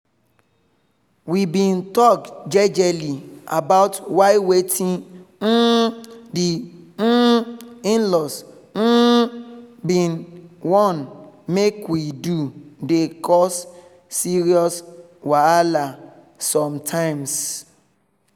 we been talk jejely about why wetin um the um in-laws um been wan make we do dey cause serious wahala sometimes